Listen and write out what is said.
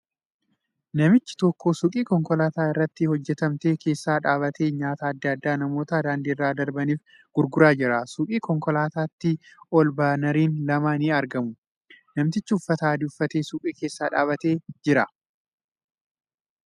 Namichi tokko suuqii konkolaataa irratti hojjatamte keessa dhaabbatee nyaata adda addaa namoota daandii irra darbaniif gurguraa jira . Suuqii konkolaatatii ol baanariin lama ni argamu. Namtichi uffata adii uffatee suuqii keessa dhaabatee jira.